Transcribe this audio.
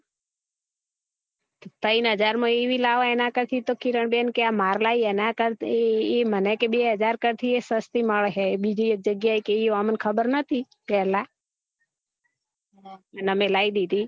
ત્રણ હજાર માં એવી લાવો એના કરતા તો કિરણ બેન કે મારે લાઈ એના કરતા કે એ મને બે હજાર કરતા એ સસ્તી મળે હે બિજી એક જગ્યા કે એ અમ ને ખબર નતી પેહલા ને અમે લાઈ ધીધી